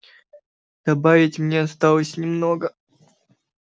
добавить мне осталось немного